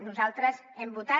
nosaltres hem votat